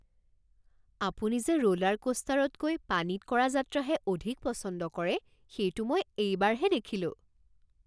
আপুনি যে ৰোলাৰকোষ্টাৰতকৈ পানীত কৰা যাত্ৰাহে অধিক পছন্দ কৰে সেইটো মই এইবাৰহে দেখিলো